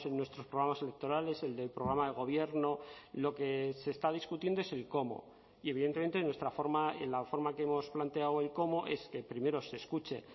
nuestros programas electorales el del programa de gobierno lo que se está discutiendo es el cómo y evidentemente en nuestra forma en la forma que hemos planteado el cómo es que primero se escuche